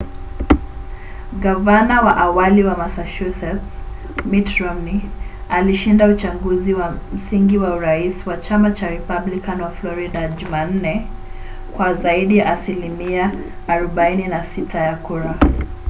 gavana wa awali wa massachusetts mitt romney alishinda uchaguzi wa msingi wa urais wa chama cha republican wa florida jumanne kwa zaidi ya asilimia 46 ya kura